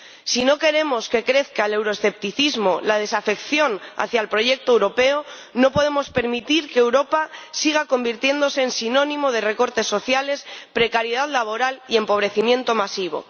Si no queremos que crezca el euroescepticismo, la desafección hacia el proyecto europeo, no podemos permitir que Europa siga convirtiéndose en sinónimo de recortes sociales, precariedad laboral y empobrecimiento masivo.